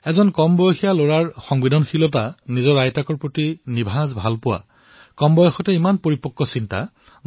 এটা সৰু লৰাৰ সংবেদনশীলতা নিজৰ আইতাকৰ বাবে বিশুদ্ধ প্ৰেম ইমান কম বয়সতে ইমান পৰিপক্ক ভাব